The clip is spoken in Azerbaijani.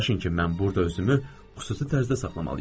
Razılaşın ki, mən burda özümü xüsusi tərzdə saxlamalıyam.